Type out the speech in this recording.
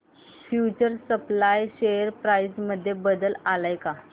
future supply share price मध्ये बदल आलाय का